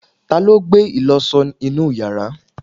taló gbé ìlọsọ inú yàrá?